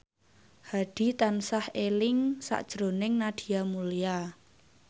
Hadi tansah eling sakjroning Nadia Mulya